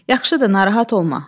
Yaxşıdır, narahat olma.